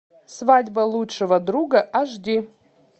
свадьба лучшего друга аш ди